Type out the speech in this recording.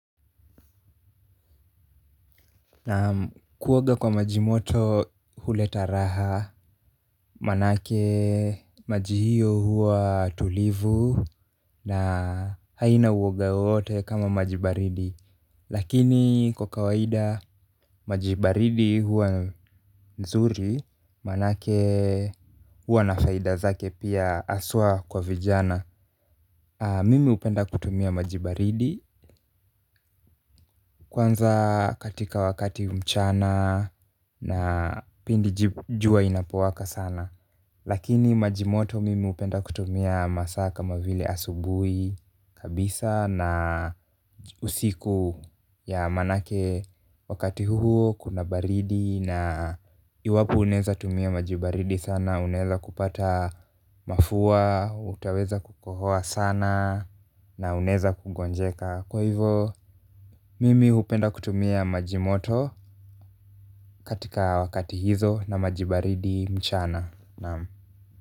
Naam, kuoga kwa maji moto huleta raha, maanake mwili huwa tulivu na haina uwoga wowote kama maji baridi. Lakini kwa kawaida, maji baridi huwa mazuri, maanake huwa na faida zake pia, hasa kwa vijana. Mimi hupenda kutumia maji baridi, kwanza wakati wa mchana na pindi jua linapowaka sana. Lakini majimoto mimi hupenda kutumia masaa kama vile asubuhi kabisa na usiku, maanake wakati huo kuna baridi, na iwapo unaweza kutumia maji baridi sana, unaweza kupata mafua na utaweza kukohoa sana. Na unaweza kuugua. Kwa hivyo, mimi hupenda kutumia maji moto wakati huo na maji baridi mchana. Naam.